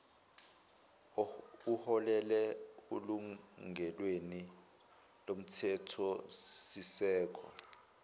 uholele elungelweni lomthethosisekelo